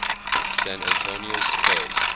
san antonio spurs